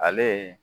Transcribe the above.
Ale